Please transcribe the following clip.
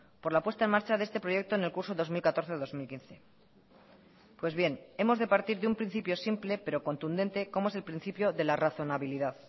por la puesta en marcha de este proyecto en el curso dos mil catorce dos mil quince pues bien hemos de partir de un principio simple pero contundente como es el principio de la razonabilidad